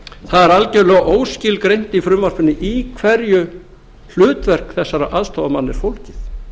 er algjörlega óskilgreint í frumvarpinu í hverju hlutverk þessara aðstoðarmanna er fólgið